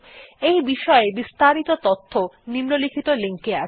এই বিষয় বিস্তারিত তথ্য নিম্নলিখিত লিঙ্ক এ আছে